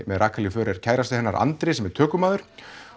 með Rakel í för er kærastinn hennar Andri sem er tökumaður